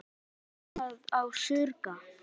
Þig munar ekki um að skemma og saurga.